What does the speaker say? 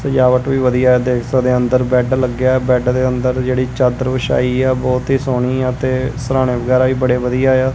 ਸਜਾਵਟ ਵੀ ਵਧੀਆ ਏ ਦੇਖ ਸਕਦੇ ਆ ਅੰਦਰ ਬੈਡ ਲੱਗਿਆ ਏ ਬੈਡ ਦੇ ਅੰਦਰ ਜਿਹੜੀ ਚਾਦਰ ਵਿਛਾਈ ਆ ਬਹੁਤ ਹੀ ਸੋਹਣੀ ਆ ਤੇ ਸਰਾਣੇ ਵਗੈਰਾ ਵੀ ਬੜੇ ਵਧੀਆ ਆ।